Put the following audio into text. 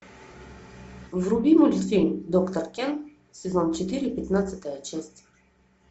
вруби мультфильм доктор кен сезон четыре пятнадцатая часть